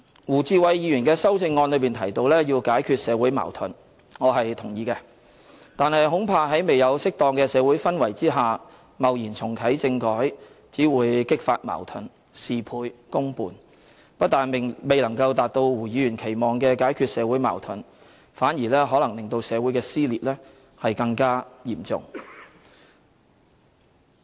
胡志偉議員的修正案提到要解決社會矛盾，我是同意的，但恐怕在未有適當的社會氛圍下，貿然重啟政改只會激發矛盾，事倍功半，不但未能夠達到胡議員所期望的解決社會矛盾，反而令社會的撕裂更加嚴重。